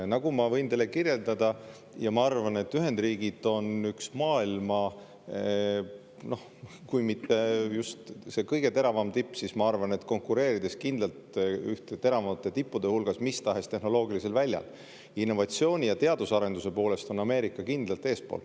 Nagu ma võin teile kinnitada – ja ma arvan, et Ühendriigid on maailma kui mitte just kõige teravam tipp, siis konkureerib kindlalt ühena teravamate tippude hulgas mistahes tehnoloogilisel väljal –, innovatsiooni ja teadusarenduse poolest on Ameerika kindlalt eesotsas.